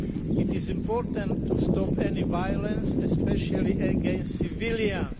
It is important to stop any violence, especially against civilians